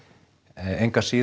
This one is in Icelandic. engu að síður